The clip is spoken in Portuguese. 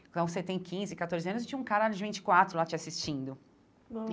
Então, você tem quinze, catorze anos, e tinha um cara de vinte e quatro lá te assistindo bom.